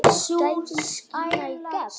Gæðin skína í gegn.